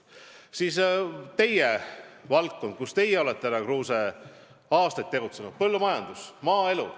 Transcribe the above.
Siis, härra Kruuse, teie valdkond, kus te olete aastaid tegutsenud: põllumajandus, maaelu.